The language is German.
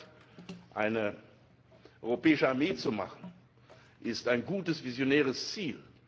Der Vorschlag, eine europäische Armee aufzustellen, ist ein gutes visionäres Ziel.